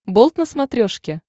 болт на смотрешке